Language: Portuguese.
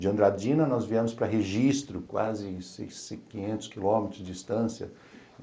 De Andradina nós viemos para Registro, quase quinhentos quilômetros de distância.